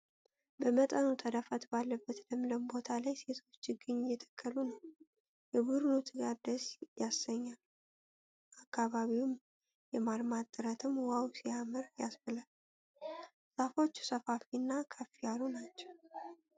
በመጠኑ ተዳፋት ባለበት ለምለም ቦታ ላይ ሴቶች ችግኝ እየተከሉ ነው። የቡድኑ ትጋት ደስ ያሰኛል!፣ አካባቢውን የማልማት ጥረትም 'ዋው ሲያምር' ያስብላል። ዛፎቹ ሰፋፊ እና ከፍ ያሉ ናቸው።